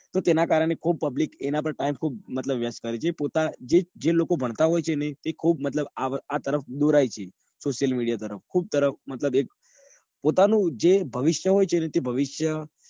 તો તેના કારણે ખુબ public એના પર time ખુબ waste કરે છે. જે લોકો ભણતા હોય ને એ વ્યક્તિ મતલબ ખુબ આ તરફ દોરી જાય social media તરફ મતલબ જે એક પોતાનું જે ભવિષ્ય હોય છે. તે ભવિષ્ય